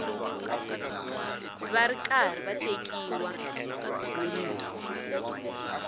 va ri karhi va tekiwa